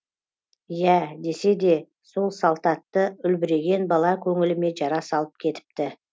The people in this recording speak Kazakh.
иә десе де сол салтатты үлбіреген бала көңіліме жара салып кетіпті